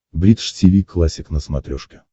бридж тиви классик на смотрешке